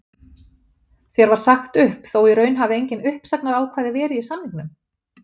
Þér var sagt upp þó í raun hafi engin uppsagnarákvæði verið í samningnum?